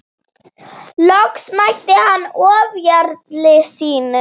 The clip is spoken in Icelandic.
Loks mætti hann ofjarli sínum.